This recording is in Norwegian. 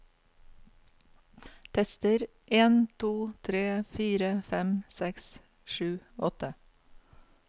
Tester en to tre fire fem seks sju åtte